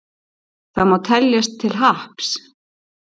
Það má teljast til happs.